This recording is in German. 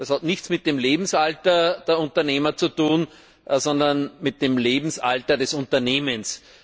Das hat nichts mit dem Lebensalter der Unternehmer zu tun, sondern mit dem Lebensalter des Unternehmens.